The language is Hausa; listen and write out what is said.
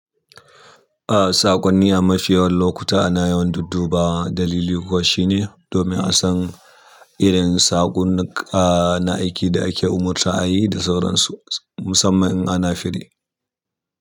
A saƙon ni amafi yawan lokuta ana yawan duddubawa. Dalili kuwa shine domin a san irin saƙon na, aiki da ake umarta a yi da sauran su musamman in ana firi.